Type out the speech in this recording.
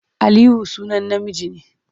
Aliyu sunan namiji ne.